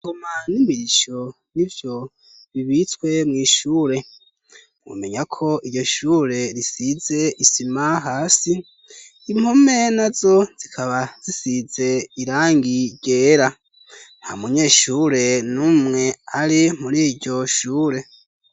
Ingoma n'imirisho nivyo bibitswe mw'ishure. Umenya ko iryoshure risize isima hasi impome nazo zikaba zisize irangi ryera. Ntamunyeshure n'umwe ari mur'iyoshure.